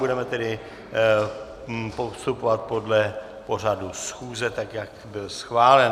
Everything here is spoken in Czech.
Budeme tedy postupovat podle pořadu schůze, tak jak byl schválen.